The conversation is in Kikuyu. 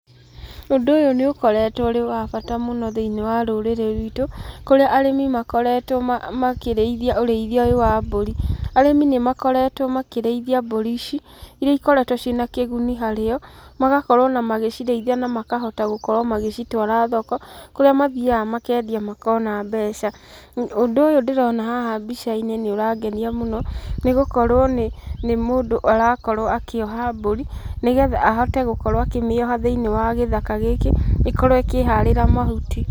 Ũndũ ũyũ nĩ ũkoretwo ũrĩ wa bata mũno thĩinĩ wa rũrĩrĩ ruitũ, kũrĩa arĩmi makoretwo makĩrĩithia ũrĩithia ũyũ wa mbũri. Arĩmi nĩ makoretwo makĩrĩithia mbũri ici, iria ikoretwo ciĩna kĩguni harĩo, magakorwo ona magĩcirĩithia na makahota gũkorwo magĩcitwara thoko, kũrĩa mathiaga makendia makona mbeca. Ũndũ ũyũ ndĩrona haha mbica-inĩ nĩ ũrangenia mũno, nĩ gũkorwo nĩ mũndũ arakorwo akĩoha mbũri, nĩgetha ahote gũkorwo akĩmĩoha thĩinĩ wa gĩthaka gĩkĩ, ĩkorwo ĩkĩharĩra mahuti.